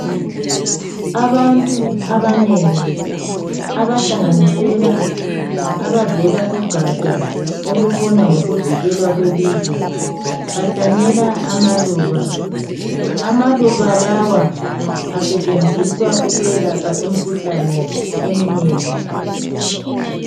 Abantu abanengi abahlanganisela abavela kugatsha olubona ngokuvikelwa kwelizwe bahlanyela amaluba. Amaluba lawa asetshenziswa ukwelapha imikhuhlane eminengi.